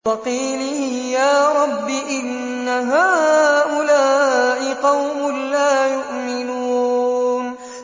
وَقِيلِهِ يَا رَبِّ إِنَّ هَٰؤُلَاءِ قَوْمٌ لَّا يُؤْمِنُونَ